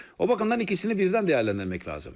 O bakımdan ikisini birdən dəyərləndirmək lazım.